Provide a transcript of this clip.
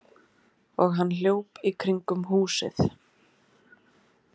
Og hann hljóp í kringum húsið.